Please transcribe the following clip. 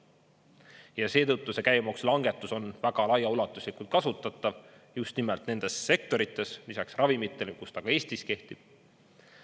Ja seetõttu see käibemaksulangetus on väga laiaulatuslikult kasutatav just nimelt nendes sektorites, lisaks ravimitele, kus ta ka Eestis kehtib.